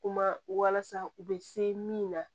Kuma walasa u bɛ se min na